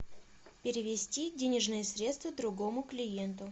перевести денежные средства другому клиенту